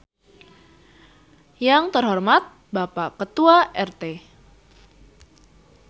Yang terhormat Bapak Ketua RT.